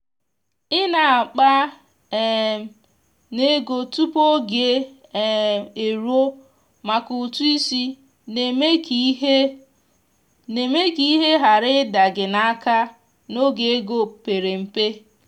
i na akpa um n'ego tupu oge um eruo maka ụtụ isi na-eme ka ihe na-eme ka ihe ghara ịda gị n’aka n’oge ego pere mpe.